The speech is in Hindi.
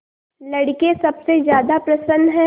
लड़के सबसे ज्यादा प्रसन्न हैं